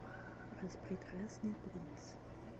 распрекрасный принц